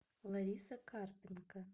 лариса карпенко